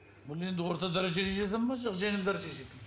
бұл енді орта дәрежеге жата ма жоқ жеңіл дәрежеге жата ма